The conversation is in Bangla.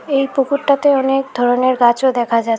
এই পুকুরটাতে অনেক ধরনের গাছও দেখা যাছে--